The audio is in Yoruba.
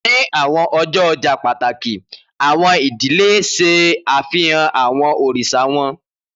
Ni awọn ọjọ ọja pataki, awọn idile ṣe afihan awọn oriṣa wọn